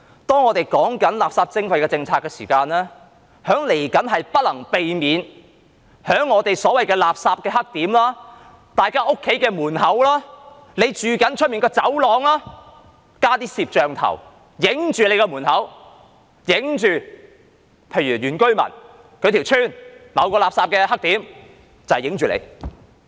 當我們就垃圾徵費制訂政策的時候，將來不能避免在所謂的垃圾"黑點"、大家的家門前或居所外的走廊會加裝一些攝像鏡頭，對着你的門口拍攝，又例如拍攝原居民村落某個垃圾"黑點"，你丟垃圾就罰你。